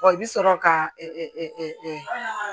i bi sɔrɔ ka